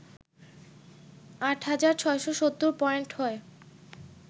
৮ হাজার ৬৭০ পয়েন্ট হয়